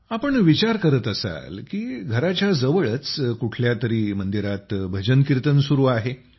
आपण विचार करत असाल की घराच्या जवळच कुठल्या तरी मंदिरात भजन कीर्तन सुरू आहे